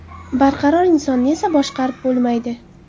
Barqaror insonni esa boshqarib bo‘lmaydi.